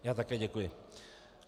Já také děkuji.